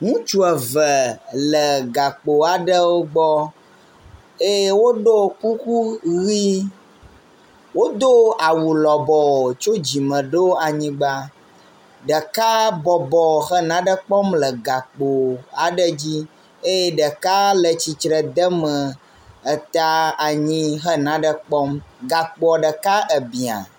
Ŋutsu eve le gakpo aɖewo gbɔ eye woɖo kuku ʋi. wodo awu lɔbɔ tso dzime ɖo anyigba. Ɖeka bɔbɔ he nanekpɔm le gakpo aɖe dzi eye ɖeka le tsitre de me eta anyi he nane kpɔm. Gakpoa ɖeka ebia.